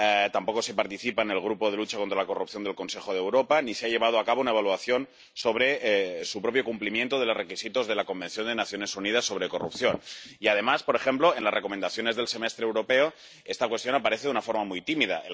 tampoco se participa en el Grupo de lucha contra la corrupción del Consejo de Europa, ni se ha llevado a cabo una evaluación sobre el cumplimiento de los requisitos de la Convención de las Naciones Unidas contra la corrupción y, además, por ejemplo, en las recomendaciones del Semestre Europeo esta cuestión aparece de una forma muy tímida.